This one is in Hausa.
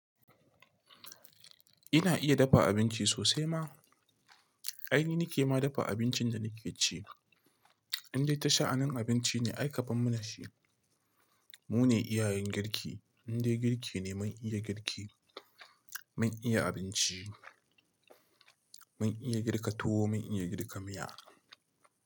Ina iya dafa abinci sosai ma. Ai ni nake ma dafa abincin da nake ci. Indai ta sha'anin abinci ne ai kabar mana shi. Mu ne iyayen girki. In dai girki ne, mun iya girki, mun iya abinci, mun iya girka tuwo mun iya girka miya.